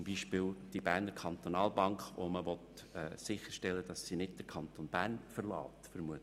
Dies ist zum Beispiel bei der Berner Kantonalbank der Fall, bei der man vermutlich sicherstellen will, dass sie den Kanton Bern nicht verlässt.